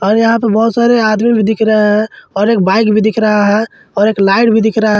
और यहां पर बहुत सारे आदमी भी दिख रहे है और एक बाइक भी दिख रहा है और एक लाइट भी दिख रहा--